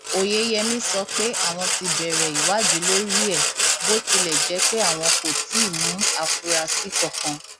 oyeyèmí sọ pé àwọn ti bẹrẹ ìwádìí lórí ẹ bó tilẹ jẹ pé àwọn kò tí ì mú àfúrásì kankan